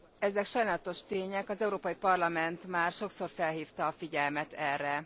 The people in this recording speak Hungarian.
Ezek sajnálatos tények, az Európai Parlament már sokszor felhívta a figyelmet erre.